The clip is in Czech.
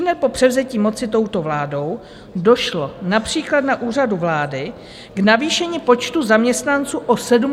Ihned po převzetí moci touto vládou došlo například na Úřadu vlády k navýšení počtu zaměstnanců o 74 osob.